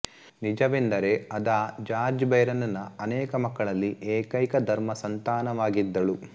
ನಿಜವೆಂದರೆ Ada George Byron ನ ಅನೇಕ ಮಕ್ಕಳಲ್ಲಿ ಏಕೈಕ ಧರ್ಮಸಂತಾನವಾಗಿದ್ದಳು